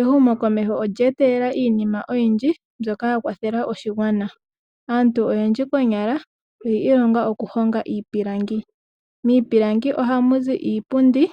Ehumo komeho olyeeta iinima oyindji mbyoka ya kwathela oshigwana, aantu oyendji konyala oyiilongela okuhonga iipilangi. Miipilangi ohamuzi iipundi,